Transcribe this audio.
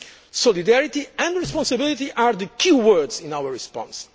Solidarity and responsibility are the key words in our response.